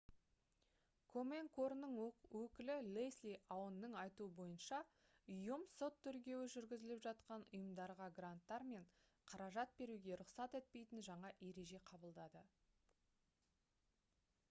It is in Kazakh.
комен қорының өкілі лесли аунның айтуы бойынша ұйым сот тергеуі жүргізіліп жатқан ұйымдарға гранттар мен қаражат беруге рұқсат етпейтін жаңа ереже қабылдады